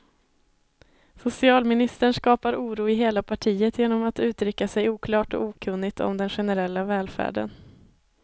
Socialministern skapar oro i hela partiet genom att uttrycka sig oklart och okunnigt om den generella välfärden.